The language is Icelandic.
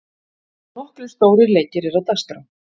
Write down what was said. Nokkrir stórir leikir eru á dagskrá.